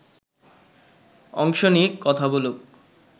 অংশ নিক, কথা বলুক